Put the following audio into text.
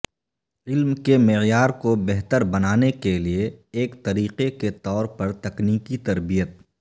علم کے معیار کو بہتر بنانے کے لئے ایک طریقہ کے طور پر تکنیکی تربیت